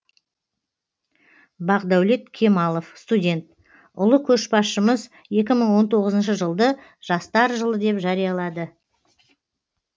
бақдәулет кемалов студент ұлы көшбасшымыз екі мың он тоғызыншы жылды жастар жылы деп жариялады